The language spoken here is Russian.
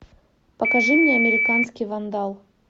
покажи мне американский вандал